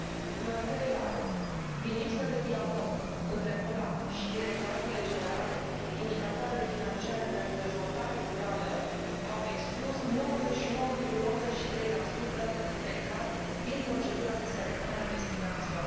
În al treilea rând, din lipsă de dialog între OLAF și Directoratele Generale, indicatoarele financiare pentru dezvoltare rurală au exclus 99,83 dintre cazuri din procedura de selectare a investigațiilor.